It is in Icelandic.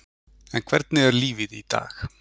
En hvernig er lífið í dag?